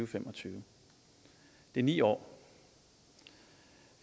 fem og tyve det er ni år